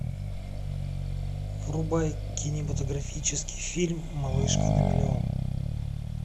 врубай кинематографический фильм малышка на миллион